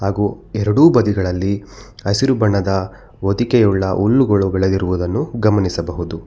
ಗು ಎರಡು ಬದಿಗಳಲ್ಲಿ ಹಸಿರು ಬಣ್ಣದ ಹೊದಿಕೆಯುಳ್ಳ ಹುಲ್ಲುಗಳು ಬೇಳೆದಿರುವುದನ್ನು ಗಮನಿಸಬಹುದು.